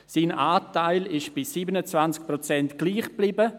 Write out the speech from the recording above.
Sein Anteil ist bei 27 Prozent gleich geblieben.